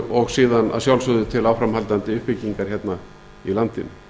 og síðan að sjálfsögðu til áframhaldandi uppbyggingar hérna í landinu